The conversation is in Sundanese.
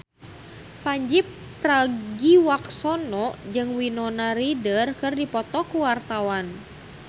Pandji Pragiwaksono jeung Winona Ryder keur dipoto ku wartawan